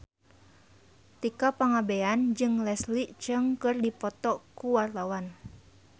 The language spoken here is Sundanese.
Tika Pangabean jeung Leslie Cheung keur dipoto ku wartawan